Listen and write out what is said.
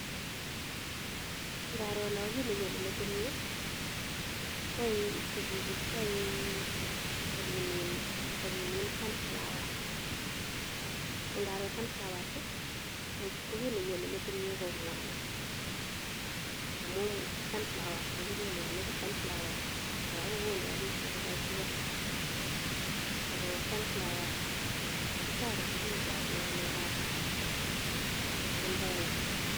Ngaro no, kiit nenyone metit nyu, kwae ko chichi kwae ko kimin, ko kimin sunflowers. Ko ngaro sunflowers, ko kit nenyone metit nyu ko mwanik. Amu sunflowers kechobe mwanik, sunflowers kora kogonu rabisiek ko kagigesa, ago sunflowers kotoreti bicho eng ng'alekab environment.